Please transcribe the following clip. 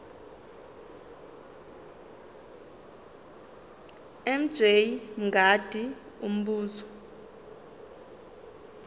mj mngadi umbuzo